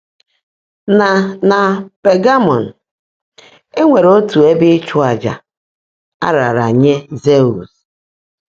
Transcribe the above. Na Na Pagamọm, e nwere otu ebe ịchụàjà a raara nye Zeus.